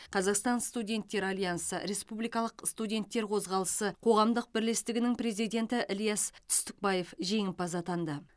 қазақстан студенттер альянсы республикалық студенттер қозғалысы қоғамдық бірлестігінің президенті ілияс түстікбаев жеңімпаз атанды